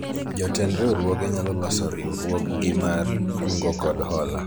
jotend riwruoge nyalo loso riwruog gi mar kungo kod hola